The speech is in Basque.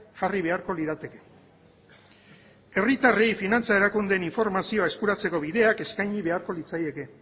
jarri beharko lirateke herritarrei finantza erakundeen informazioa eskuratzeko bideak eskaini beharko litzaieke